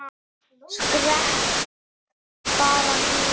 Skrepp bara niður.